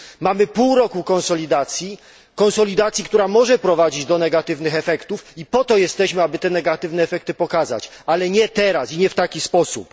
Mamy pół roku konsolidacji, konsolidacji, która może prowadzić do negatywnych efektów, i po to jesteśmy, aby te negatywne efekty pokazać, ale nie teraz i nie w taki sposób.